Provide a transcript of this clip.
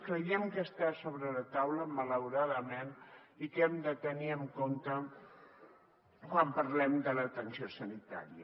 creiem que està sobre la taula malauradament i que hem de tenir en compte quan parlem de l’atenció sanitària